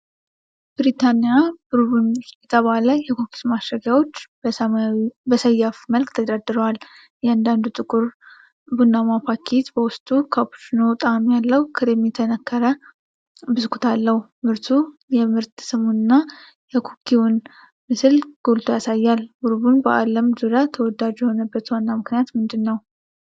ብሪታኒያ ቡርቦን የተባለ የኩኪስ ማሸጊያዎች በሰያፍ መልክ ተደርድረዋል። እያንዳንዱ ጥቁር ቡናማ ፓኬት በውስጡ ካፑቺኖ ጣዕም ያለው ክሬም የተነከረ ብስኩት አለው። ምርቱ የምርት ስሙንና የኩኪውን ምስል ጎልቶ ያሳያል። ቡርቦን በዓለም ዙሪያ ተወዳጅ የሆነበት ዋና ምክንያት ምንድን ነው?